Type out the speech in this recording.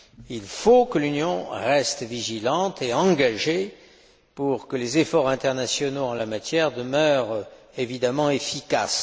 Il faut qu'elle reste vigilante et engagée, pour que les efforts internationaux en la matière demeurent manifestement efficaces.